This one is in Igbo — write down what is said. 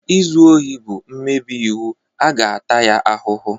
Izu ohi bụ mmebi iwu a ga-ata ya ahụhụ.